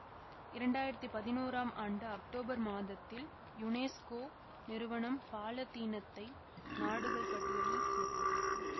இரண்டாயிரத்தி பதினோராம் India October மாதத்தில் யுனெசுக்கோ நிறுவனம் பாலத்தீனத்தை நாடுகள் பட்டியலில் சேர்த்தது